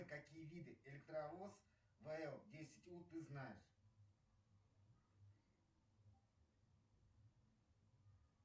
какие виды электровоз вл десять у ты знаешь